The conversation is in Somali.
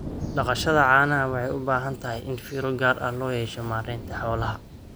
Dhaqashada caanaha waxay u baahan tahay in fiiro gaar ah loo yeesho maareynta xoolaha.